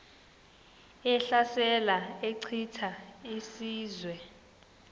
ehlasela echitha izizwe